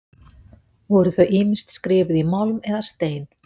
Voru þau ýmist skrifuð í málm eða stein.